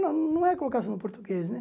Não não é colocar só no português, né?